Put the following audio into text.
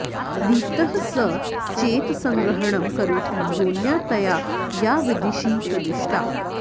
दीप्तः स चेत् सङ्ग्रहणं करोति योन्या तया या विदिशि प्रदिष्टा